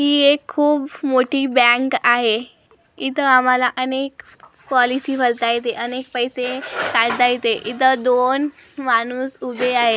हि एक खूप मोठी बँक आहे इथं आम्हाला अनेक कॉलेज फी भरता येते अनेक पैसे काढता येते इथं दोन माणूस उभे आहे.